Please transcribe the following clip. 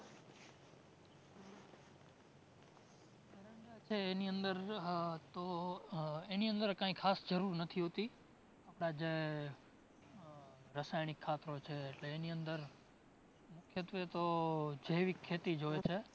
એની અંદર તો, એની અંદર કાઇ ખાસ જરૂર નથી હોતી. આપણાં જે રસાયણિક ખાતરો છે એટલે એની અંદર તો મુખ્યત્વે તો જૈવિક ખેતી જ હોય છે